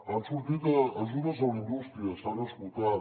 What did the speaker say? han sortit ajudes a la indústria s’han esgotat